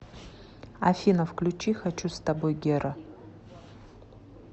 афина включи хочу с тобой гера